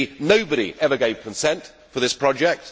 Nobody ever gave consent for this project.